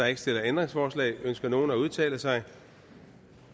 ikke stillet ændringsforslag ønsker nogen at udtale sig